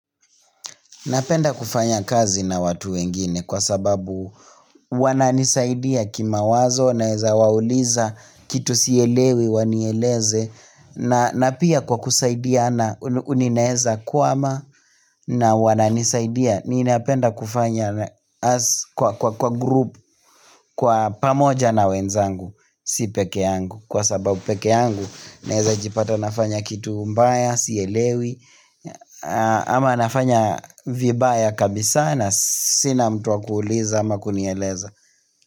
Napenda kufanya kazi na watu wengine kwa sababu wananisaidia kimawazo naweza wauliza kitu sielewi wanieleze na na pia kwa kusaidiana ninaweza kwama na wananisaidia, ninapenda kufanya kwa grupu kwa pamoja na wenzangu si pekee yangu kwa sababu pekee yangu naweza jipata nafanya kitu mbaya sielewi ama nafanya vibaya kabisaa na sina mtu wa kuuliza ama kunieleza.